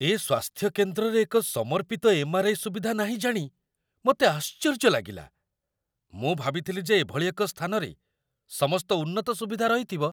ଏ ସ୍ୱାସ୍ଥ୍ୟକେନ୍ଦ୍ରରେ ଏକ ସମର୍ପିତ ଏମ୍.ଆର୍.ଆଇ. ସୁବିଧା ନାହିଁ ଜାଣି ମୋତେ ଆଶ୍ଚର୍ଯ୍ୟ ଲାଗିଲା। ମୁଁ ଭାବିଥିଲି ଯେ ଏଭଳି ଏକ ସ୍ଥାନରେ ସମସ୍ତ ଉନ୍ନତ ସୁବିଧା ରହିଥିବ।